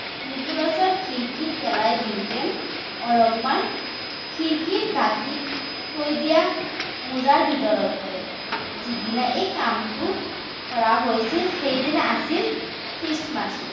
নিকোলাচে খিৰিকীৰে পেলাই দিয়োতে অলপমান খিৰিকীৰ দাতিত থৈ দিয়া মোজাৰ ভিতৰত পৰে। যিদিনা এই কামটো কৰা হৈছিল সেইদিনা আছিল খ্ৰীষ্টমাচ।